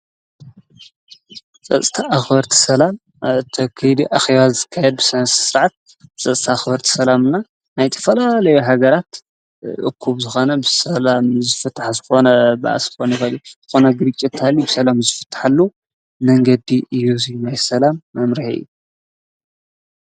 ጸጽተ ኣኽወርት ሰላም ተኪድ ኣኺዋት ዝካይብስንስ ሥዓት ጸጽተ ኣኽወርቲ ሰላምና ናይቲ ፈላ ለይሃገራት እኩብ ዝኻነብ ሰላም ዝፍጥሕ ዝፈነ ብኣስፎን በሊ ኾነ ግሪ እታል ብሰላም ዝፍትሐሉ ነንገዲ ኢዩዙይ ናይ ሰላም መምርሒ።